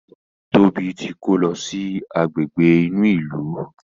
Tóbi tí kò ló sì Àgbègbè inú ilu.